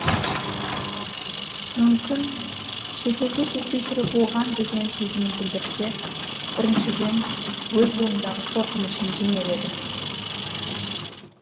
мүмкін шет елге кетпей тұрып оған деген сезімін білдірсе біріншіден өз бойындағы қорқынышын жеңер еді